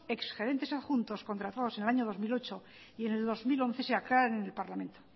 exgerentes adjuntos contratados en el año dos mil ocho y en el dos mil once se aclara en el parlamento